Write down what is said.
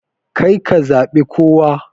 Karka zabe kowa.